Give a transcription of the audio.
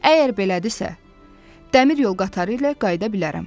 Əgər belədirsə, dəmir yol qatarı ilə qayıda bilərəm.